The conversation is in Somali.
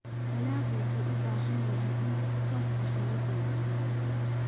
Dalaggu wuxuu u baahan yahay in si toos ah loogu beero ciidda.